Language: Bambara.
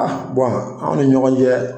anw ni ɲɔgɔncɛ.